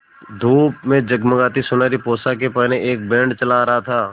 धूप में जगमगाती सुनहरी पोशाकें पहने एक बैंड चला आ रहा था